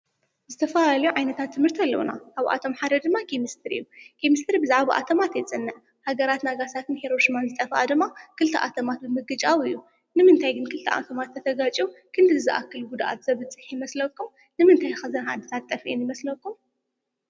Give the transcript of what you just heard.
ዝተፈላለዩ ዓይነታት ትምህርቲ ኣለዉና፡፡ ኣብኣቶም ሓደ ድማ ኬምስትሪ እዩ፡፡ ኬምስትሪ ብዛዕባ ኣቶማት የፅንዕ፡፡ ሃገራት ናጋሳኪን ሄሮሽማን ዝጠፍአ ድማ ክልተ ኣተማት ብምግጫው እዩ፡፡ ንምንታይ ግን ክልተ ኣቶማት ተተጋጭ ክንድዚ ዝኣክል ጕድኣት ዘብጽሕ ይመስለኩም? ንምንታይ ከ እዘን ዓድታት ጠፊአን ይመስለኩም?